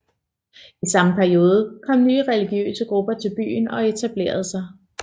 I samme periode kom nye religiøse grupper til byen og etablerede sig